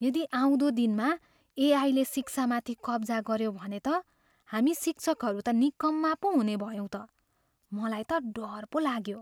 यदि आउँदो दिनमा एआईले शिक्षामाथि कब्जा गऱ्यो भने त हामी शिक्षकहरू त निकम्मा पो हुनेभयौँ त। मलाई त डर पो लाग्यो।